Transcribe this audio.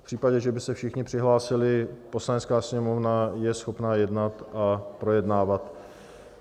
V případě, že by se všichni přihlásili, Poslanecká sněmovna je schopna jednat a projednávat.